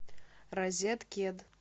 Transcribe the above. розеткед